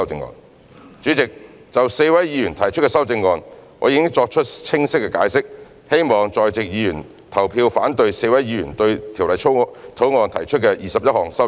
代理主席，就4位議員提出的修正案，我已作清晰的解釋，希望在席議員投票反對4位議員對《條例草案》提出的21項修正案。